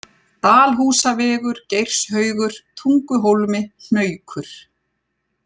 Dalhúsavegur, Geirshaugur, Tunguhólmi, Hnaukur